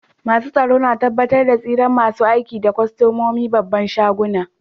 Masun tsaro na tabatar da tsiran masun aiki da kostomomin babban shagunan.